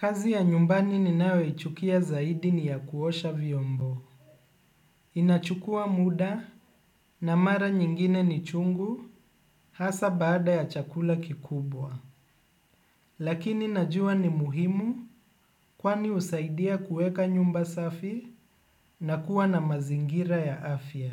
Kazi ya nyumbani ninayo ichukia zaidi ni ya kuosha vyombo. Inachukua muda na mara nyingine ni chungu hasa baada ya chakula kikubwa. Lakini najua ni muhimu kwani husaidia kuweka nyumba safi na kuwa na mazingira ya afya.